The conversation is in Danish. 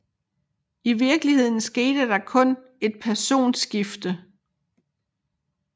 I virkeligheden skete der kun et personskifte